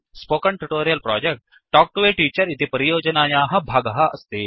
spoken tutorial project talk to a teacher इति परियोजनायाः भागः अस्ति